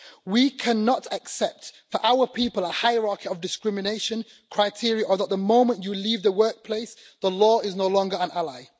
We cannot accept for our people a hierarchy of discrimination, criteria, or the fact that the moment you leave the workplace, the law is no longer an ally.